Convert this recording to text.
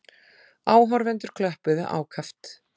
Áhorfendur klöppuðu ákaft.